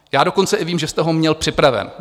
Já dokonce i vím, že jste ho měl připraven.